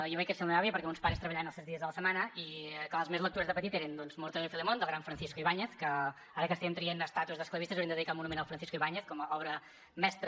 jo vaig créixer amb la meva àvia perquè mos pares treballaven els set dies de la setmana i clar les més lectures de petit eren doncs mortadelo y filemón del gran francisco ibáñez que ara que estem traient estàtues d’esclavistes hauríem de dedicar un monument al francisco ibáñez com a obra mestra